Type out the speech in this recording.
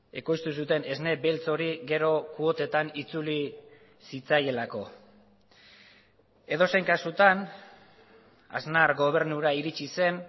ekoiztu zuten esne beltz hori gero kuotetan itzuli zitzaielako edozein kasutan aznar gobernura iritsi zen